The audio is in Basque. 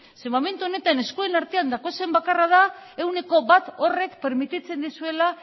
zeren momentu honetan eskuen artean daukazuen bakarra da ehuneko bat horrek permititzen dizuela